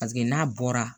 Paseke n'a bɔra